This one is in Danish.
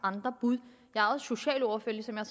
andre bud jeg er jo socialordfører ligesom jeg